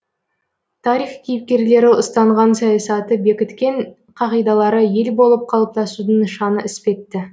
тарих кейіпкерлері ұстанған саясаты бекіткен қағидалары ел болып қалыптасудың нышаны іспетті